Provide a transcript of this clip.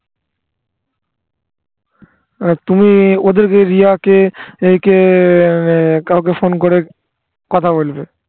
আর তুমি ওদেরকে রিয়াকে একে কাউকে ফোন করে কথা বলবে